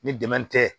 Ni dɛmɛ tɛ